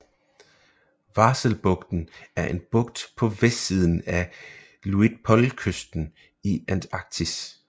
Vahselbugten er en bugt på vestsiden af Luitpoldkysten i Antarktis